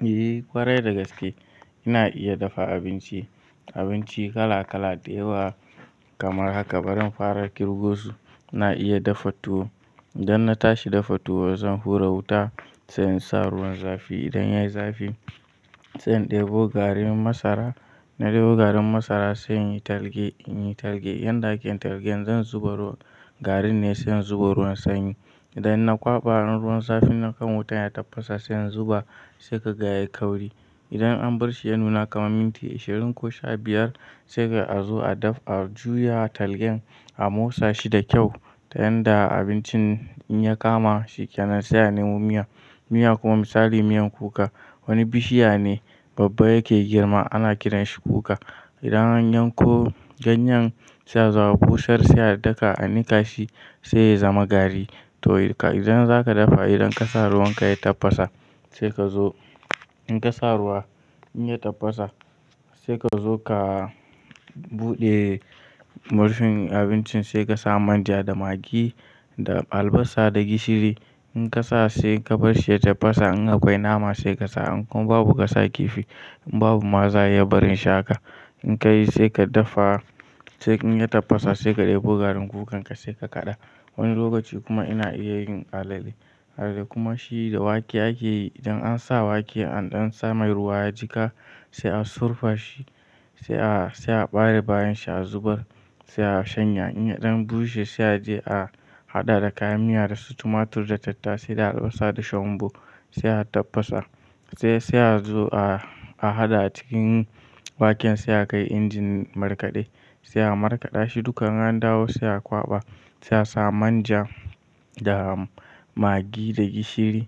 Eh ƙwarai da gaske ina iya dafa abinci. Abinci kala kala da yawa kamar haka, bari in fara kirgo su. Na iya dafa tuwo, idan na tashi dafa tuwo zan hura wuta sai in sa ruwan zafi. Idan yayi zafi sai in ɗebo garin masara, na ɗebo garin masara sai in yi targe, in yi targe. Yanda ake targe zan zuba ruwa, garin ne sai in zuba ruwan sanyi. Idan na kwaɓa in ruwan zafi na kan wutan ya tafasa sai in zuba sai ka ga ya yi kauri. Idan an bar shi ya nuna kamar minti ashirin ko sha biyar sai ka zo a daf a juya targe a motsa shi da kyau ta yanda abincin in ya kama shi kenan sai a nemo miya. Miya kuma misali miyan kuka, wani bishiya ne babba yake girma ana kiran shi kuka. Idan an yanko ganyan sai a zo a busar sai a daka a nika shi sai ya zama gari. To idan zaka dafa idan ka sa ruwan ka ya tafasa sai ka zo in ka sa ruwa in ya tafasa sai ka zo ka buɗe murfin abincin sai ka sa manja da magi da albasa da gishiri. In ka sa sai ka bar shi ya tafasa in akwai nama sai ka sa. In kuma babu ka sa kifi, in babu ma za a iya barin shi haka. In ka yi sai ka dafa, sai in ya tafasa sai ka ɗebo garin kukanka sai ka kaɗa. Wani lokaci kuma ina iya yin alale. Alale kuma shi da wake ake yi. Idan an sa wake an ɗan samar ruwa ya jika sai a surfa shi sai a bare bayan shi a zubar sai a shanya. In ya ɗan bushe sai a je a haɗa da kayan miya da su tumatur da tattasai da albasa da shonbo sai a tafasa. Sai a zo a haɗa a cikin waken sai a kai injin markaɗe, sai a markaɗa shi dukkan in an dawo sai a kwaɓa. Sai a sa manja da magi da gishiri.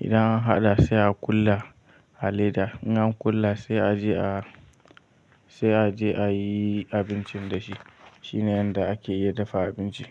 Idan an haɗa sai a kula, a leda. In an kula sai a je a, sai a je a yi abincin da shi. Shine yanda ake iya dafa abinci.